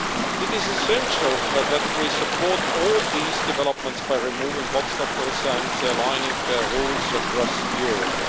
It is essential that we support all these developments by removing obstacles and aligning rules across Europe.